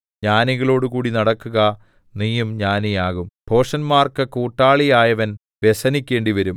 ജ്ഞാനികളോടുകൂടി നടക്കുക നീയും ജ്ഞാനിയാകും ഭോഷന്മാർക്ക് കൂട്ടാളിയായവൻ വ്യസനിക്കേണ്ടിവരും